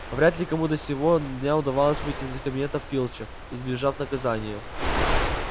вряд ли кому до сего дня удавалось выйти из кабинета филча избежав наказания